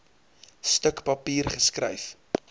stuk papier geskryf